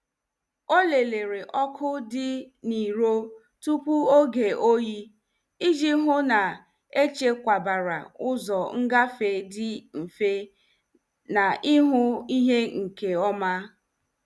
Ọ lelere ọkụ dị n' iro tupu oge oyi, iji hụ na-echekwabara ụzọ ngafe dị mfe na ihu ihe nke ọma.